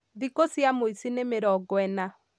Thikũ cia mũici nĩ mĩronga ĩna